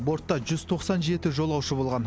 бортта жүз тоқсан жеті жолаушы болған